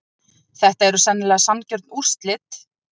Þetta eru sennilega sanngjörn úrslit.